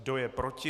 Kdo je proti?